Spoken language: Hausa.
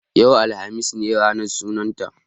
Yau, alhamis, ne ranar sunan ta